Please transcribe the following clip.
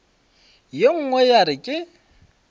ye nngwe ya re ke